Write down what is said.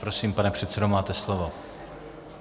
Prosím, pane předsedo, máte slovo.